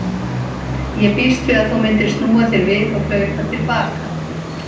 Ég býst við að þú myndir snúa þér við og hlaupa til baka.